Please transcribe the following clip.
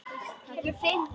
Þá glottir hún bara.